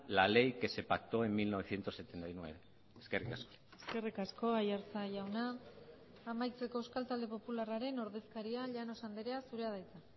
la ley que se pactó en mil novecientos setenta y nueve eskerrik asko eskerrik asko aiartza jauna amaitzeko euskal talde popularraren ordezkaria llanos andrea zurea da hitza